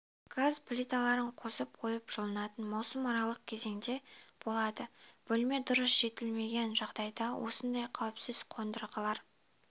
газ плиталарын қосып қойып жылынатын маусымаралық кезеңде болады бөлме дұрыс желдетілмеген жағдайда осындай қауіпсіз қондырғылар